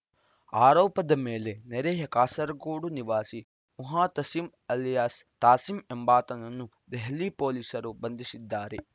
ಆರೋಪದ ಮೇಲೆ ನೆರೆಯ ಕಾಸರಗೋಡು ನಿವಾಸಿ ಮುಹತಸಿಂ ಅಲಿಯಾಸ್‌ ತಾಸಿಂ ಎಂಬಾತನನ್ನು ದೆಹಲಿ ಪೊಲೀಸರು ಬಂಧಿಸಿದ್ದಾರೆ